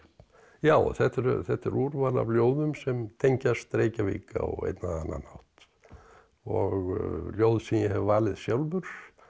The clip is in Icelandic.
já þetta er þetta er úrval af ljóðum sem tengjast Reykjavík á einn eða annan hátt og ljóð sem ég hef valið sjálfur